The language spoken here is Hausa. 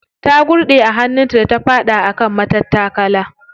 Ta gurɗe a hannun ta da ta faɗi a kan matattakala.